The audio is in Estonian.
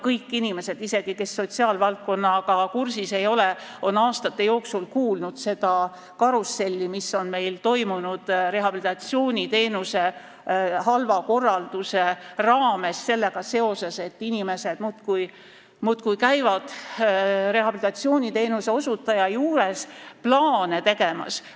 Kõik inimesed, isegi need, kes sotsiaalvaldkonnaga kursis ei ole, on aastate jooksul kuulnud sellest karussellist, sellest, mis on meil toimunud rehabilitatsiooniteenuse halva korralduse tõttu, kui inimesed muudkui käivad rehabilitatsiooniteenuse osutaja juures plaane tegemas.